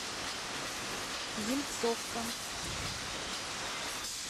ельцовка